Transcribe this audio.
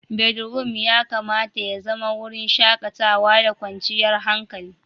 Bedroom ya kamata ya zama wurin shakatawa da kwanciyar hankali.